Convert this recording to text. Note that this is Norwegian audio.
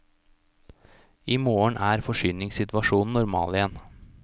I morgen er forsyningssituasjonen normal igjen.